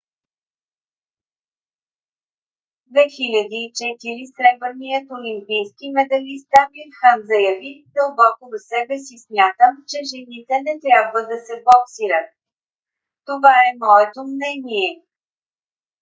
2004 сребърният олимпийски медалист амир хан заяви: дълбоко в себе си смятам че жените не трябва да се боксират. това е моето мнение.